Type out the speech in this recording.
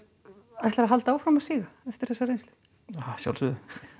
ætlarðu að halda áfram að síga eftir þessa reynslu að sjálfsögðu